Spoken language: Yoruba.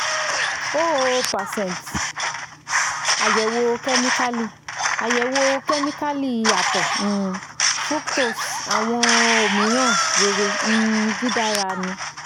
zero percent ayẹwo chemical ayẹwo chemical atọ um fructose awọn omiiran rere um didara nil